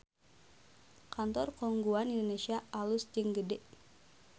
Kantor Khong Guan Indonesia alus jeung gede